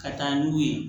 Ka taa n'u ye